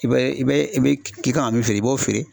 I bɛ i bɛ i bɛ k'i kan ka min feere i b'o feere